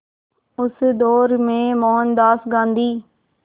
उस दौर में मोहनदास गांधी